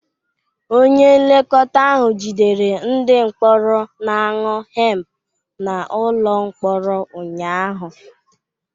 Onye nlekọta ahụ jidere ndị mkpọrọ na-aṅụ hemp n'ụlọ mkpọrọ ụnyaahụ